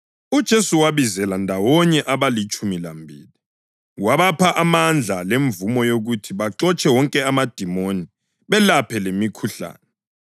UJesu wabizela ndawonye abalitshumi lambili wabapha amandla lemvumo yokuthi baxotshe wonke amadimoni, belaphe lemikhuhlane,